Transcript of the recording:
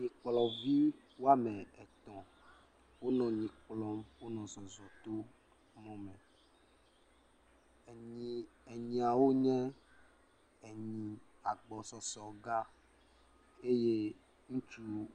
Nyikplɔvi woame etɔ̃ wonɔ nyi kplɔm, wonɔ zɔ to mɔ me. Enyi, nyiawo nye enyi agbɔsɔsɔ gã eye ŋutsu…